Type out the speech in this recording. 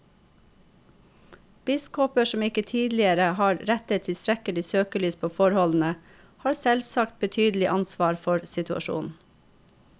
Biskoper som ikke tidligere har rettet tilstrekkelig søkelys på forholdene, har selvsagt betydelig ansvar for situasjonen.